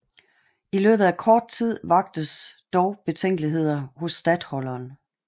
I løbet af kort tid vaktes dog betænkeligheder hos statholderen